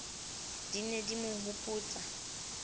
di ne di mo hopotsa